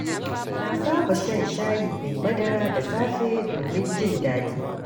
Na saba shan shayi mai madara da safe domin jin daɗi.